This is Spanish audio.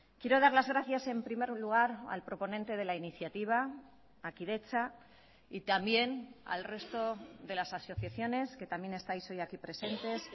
quiero dar las gracias en primer lugar al proponente de la iniciativa a kidetza y también al resto de las asociaciones que también estáis hoy aquí presentes